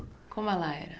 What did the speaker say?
Como ela era?